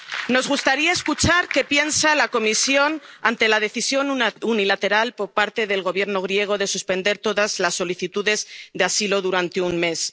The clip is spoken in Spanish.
Nos gustaría escuchar qué piensa la Comisión ante la decisión unilateral por parte del Gobierno griego de suspender todas las solicitudes de asilo durante un